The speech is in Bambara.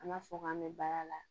An b'a fɔ k'an bɛ baara la